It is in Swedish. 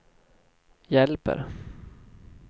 hjälper